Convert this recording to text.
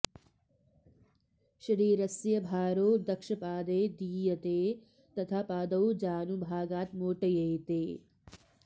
शरीरस्य् भारो दक्षपादे दीयते तथा पादौ जानुभागाद् मोट्येते